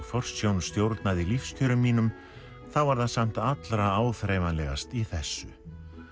forsjón stjórnaði lífskjörum mínum þá var það samt allra áþreifanlegast í þessu